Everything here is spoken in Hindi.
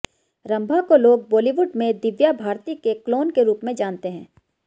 रंभा को लोग बॉलीवुड में दिव्या भारती के क्लोन के रूप में जानते हैं